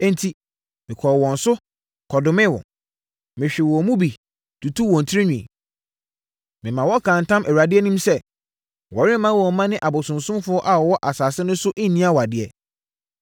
Enti, mekɔɔ wɔn so, kɔdomee wɔn. Mehwee wɔn mu bi, tutuu wɔn tirinwi. Memaa wɔkaa ntam Awurade anim sɛ, wɔremma wɔn mma ne abosonsomfoɔ a wɔwɔ asase no so nni awadeɛ.